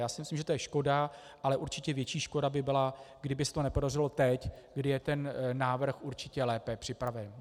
Já si myslím, že to je škoda, ale určitě větší škoda by byla, kdyby se to nepodařilo teď, kdy je ten návrh určitě lépe připraven.